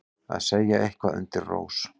Að segja eitthvað undir rós